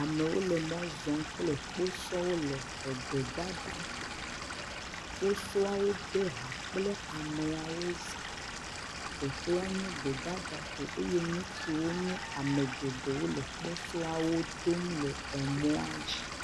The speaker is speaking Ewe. Amewo le mɔ zɔm kple kposɔwo le egbedada ƒo, kposɔawo de ha kple ameawo zã, teƒɔa nye gbedada ƒo eye nutsuwo nye ame geɖewo le kposɔawo dom le emɔa dzi.